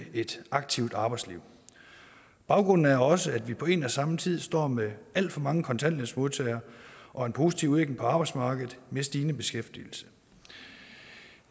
et aktivt arbejdsliv baggrunden er også at vi på en og samme tid står med alt for mange kontanthjælpsmodtagere og en positiv udvikling på arbejdsmarkedet med stigende beskæftigelse